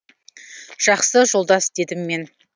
жақсы жолдас дедім мен